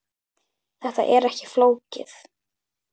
Þetta er ekki flókið